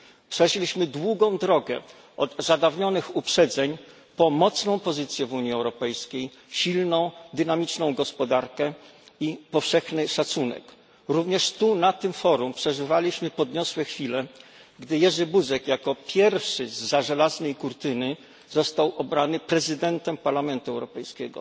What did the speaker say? Przeszliśmy długą drogę, od zadawnionych uprzedzeń po mocną pozycję w Unii Europejskiej, silną, dynamiczną gospodarkę i powszechny szacunek. Również tu na tym forum przeżywaliśmy podniosłe chwile, gdy Jerzy Buzek jako pierwszy zza żelaznej kurtyny został obrany przewodniczącym Parlamentu Europejskiego,